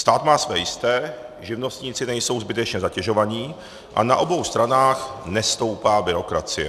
Stát má své jisté, živnostníci nejsou zbytečně zatěžováni a na obou stranách nestoupá byrokracie.